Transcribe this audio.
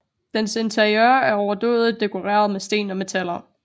Dens interiør er overdådigt dekoreret med sten og metaller